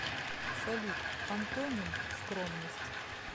салют антоним скромность